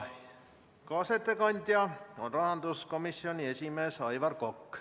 Kaasettekandja on rahanduskomisjoni esimees Aivar Kokk.